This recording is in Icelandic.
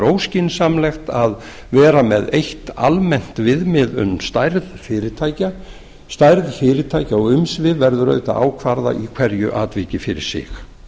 óskynsamlegt að vera með eitt almennt viðmið um stærð fyrirtækja stærð fyrirtækja og umsvif verður auðvitað að ákveða í hverju atviki fyrir sig